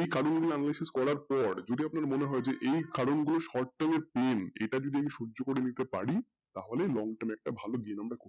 এই কারণ গুলো মানুষে করার পর যদি আপনার মনে হয় যে এই কারণ গুলো short term এর এটা যদি আমরা সহ্য করে নিতে পারি তাহলে long term ভালো একটা